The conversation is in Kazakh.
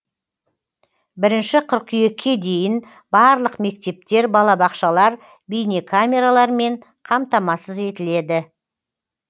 бірінші қыркүйекке дейін барлық мектептер балабақшалар бейнекамералармен қамтамасыз етіледі